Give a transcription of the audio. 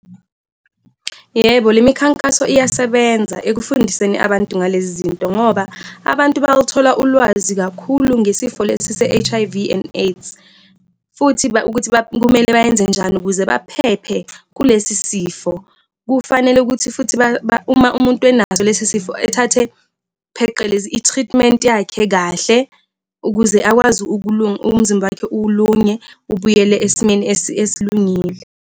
Yebo, le mikhankaso iyasebenza ekufundiseni abantu ngalezi zinto ngoba abantu bawuthola ulwazi kakhulu ngesifo lesi se-H_I_V and AIDS, futhi ukuthi kumele bayenze njani ukuze baphephe kulesi sifo. Kufanele ukuthi futhi uma umuntu enaso lesi sifo ethathe pheqelezi, i-treatment yakhe kahle ukuze akwazi umzimba wakhe ulunge ubuyele esimeni esilungile.